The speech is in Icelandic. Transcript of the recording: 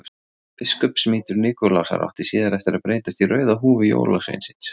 Biskupsmítur Nikulásar átti síðar eftir að breytast í rauða húfu jólasveinsins.